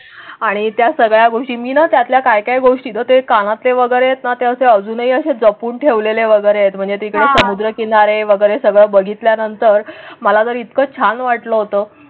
आणि त्या सगळ्या गोष्टी मी नात्यातल्या काय काय गोष्टी तर ते काना ते वगैरे त्याचे अजूनही असे जपून ठेवलेले वगैरे आहेत. म्हणजे तिकडे समुद्रकिनारे वगैरे सगळं बघितल्या नंतर मला तर इतकं छान वाटलं होतं.